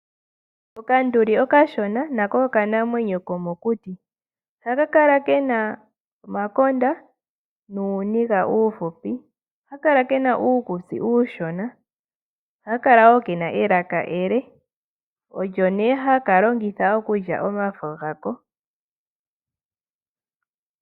Okanduli okashona nako okanamwenyo komokuti. Ohaka kala ke na omangwathi nuuniga uufupi. Ohaka kala ke na uukutsi uushona. Ohaka kala wo ke na elaka ele olyo nee haka longitha okulya omafo gako.